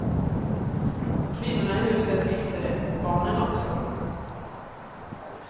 Kvinnorna i huset visste det och barnen också.